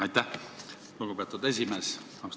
Aitäh, lugupeetud esimees!